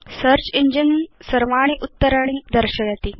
search engine सर्व उत्तराणि करोति